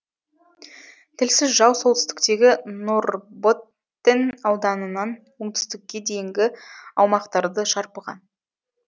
тілсіз жау солтүстіктегі норрботтен ауданынан оңтүстікке дейінгі аумақтарды шарпыған